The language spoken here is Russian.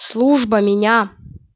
служба меня